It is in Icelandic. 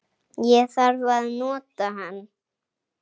Ég þarf að nota hann